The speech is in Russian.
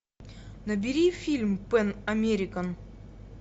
набери фильм пэн американ